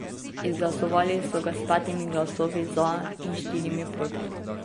Izglasovali so ga s petimi glasovi za in štirimi proti.